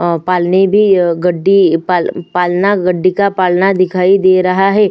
अ पालनी भी गड्डी पाल पालना गडडिका पालना दिखाई दे रहा है।